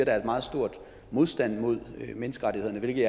er en meget stor modstand mod menneskerettighederne hvilket